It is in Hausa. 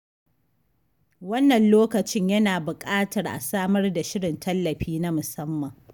Wannan lokacin yana buƙatar a samar da shirin tallafi na musamman.